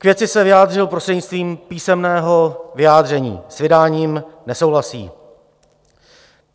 K věci se vyjádřil prostřednictvím písemného vyjádření, s vydáním nesouhlasí.